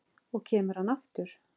Og kemur hann aftur?